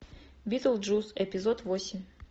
битлджус эпизод восемь